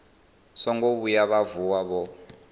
songo vhuya vha vuwa vho